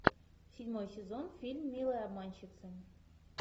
седьмой сезон фильм милые обманщицы